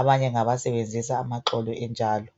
abanye ngabasebenzisa amaxolo enjalo.